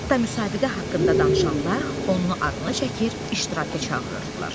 Hətta müsabiqə haqqında danışanlar onun adını çəkir, iştiraka çağırırdılar.